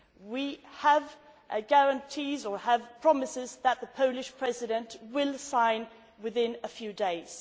We have guarantees or promises that the Polish President will sign within a few days.